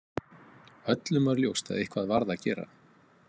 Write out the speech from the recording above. Öllum var ljóst að eitthvað varð að gera.